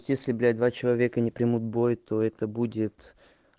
если блять два человека не примут бой то это будет